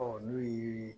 Ɔ n'o ye